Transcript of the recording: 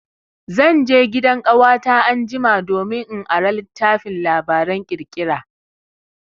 Zan je gidan ƙawata anjima domin in ara littafin labaran ƙirƙira.